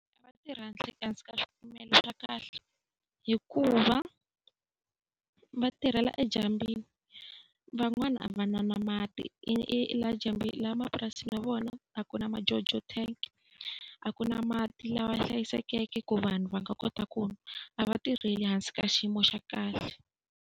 A va tirhi hansi ka swipimelo swa kahle hikuva va tirhela edyambwini, van'wani a va na na mati. Laha mapurasini ya vona a ku na tijojo tank a ku na mati lawa hlayisekeke ku vanhu va nga kota ku nwa, a va tirheli hansi ka xiyimo xa kahle.